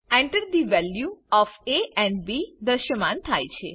Enter the values of A and B દ્રશ્યમાન થાય છે